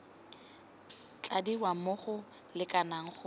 tladiwa mo go lekaneng go